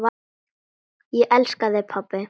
Ég elska þig, pabbi.